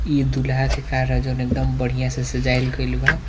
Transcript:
इ दुल्हा के कार हेय जोन एकदम बढ़िया से सजाइल गेलबा --